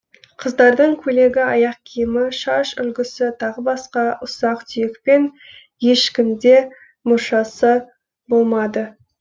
қыздардың көйлегі аяқ киімі шаш үлгісі тағы басқа ұсақ түйекпен ешкім де мұршасы болмады